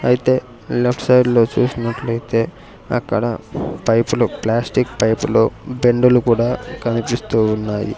అయితే లెఫ్ట్ సైడ్లో చూసినట్లయితే అక్కడ పైపులు ప్లాస్టిక్ పైపులు బెండులు కూడా కనిపిస్తూ ఉన్నాయి.